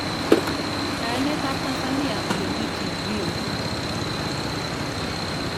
Kayanet ab Tanzania Olimpiki Rio